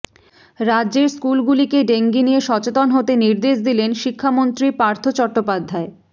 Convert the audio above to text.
রাজ্যের স্কুলগুলিকে ডেঙ্গি নিয়ে সচেতন হতে নির্দেশ দিলেন শিক্ষামন্ত্রী পার্থ চট্টোপাধ্যায়